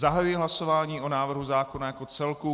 Zahajuji hlasování o návrhu zákona jako celku.